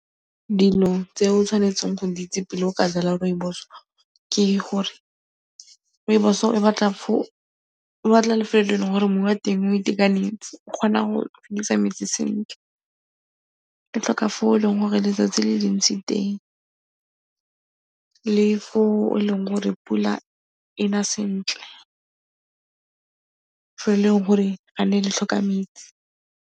Dilo tse o tshwanetseng go di itse pele o ka jwala rooibos ke gore rooibos e batla lefelo le eleng gore mmu wa teng o itekanetse, e kgona go metsi sentle, e tlhoka fa e leng gore letsatsi le le ntsi teng le fo e leng gore pula e na sentle, fo e leng gore ga e ne e tlhoka metsi.